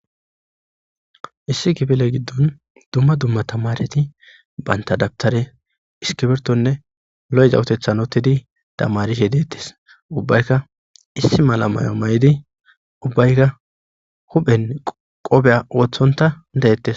Dumma dumma tamareti banta dabttare iskibirtone lo'iza utheththan oottidi tamarishe de'ettes. Ubbayka issi mala mayo mayddi ubbayka huphphen qoobiya wotsonta de'ettes.